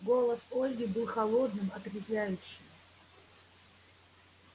голос ольги был холодным отрезвляющим